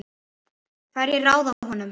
Hverjir ráða honum?